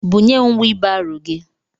Bunyem wiibaro gị!